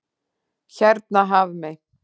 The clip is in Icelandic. Hérna Hafmey.